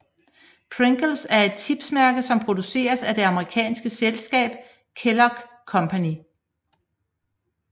Pringles er et chipsmærke som produceres af det amerikanske selskab Kellogg Company